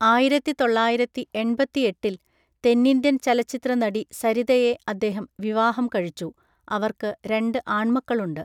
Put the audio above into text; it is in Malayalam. ആയിരത്തി തൊള്ളായിരത്തി എൺപത്തിയെട്ടിൽ തെന്നിന്ത്യൻ ചലച്ചിത്ര നടി സരിതയെ അദ്ദേഹം വിവാഹം കഴിച്ചു, അവർക്ക് രണ്ട് ആൺമക്കളുണ്ട്.